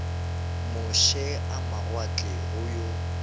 moše a mawatle go yo